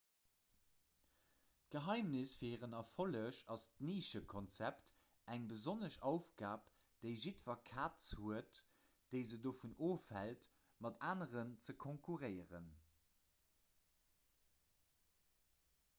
d'geheimnis fir hiren erfolleg ass d'nischekonzept eng besonnesch aufgab déi jiddwer kaz huet déi se dovun ofhält mat aneren ze konkurréieren